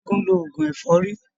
Ṣẹ́gun ń lo oògùn ẹ̀fọ́rí.